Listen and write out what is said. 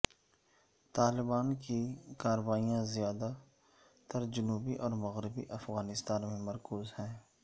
طالبان کی کارروائیاں زیادہ تر جنوبی اور مغربی افغانستان میں مرکوز ہیں